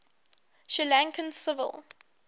sri lankan civil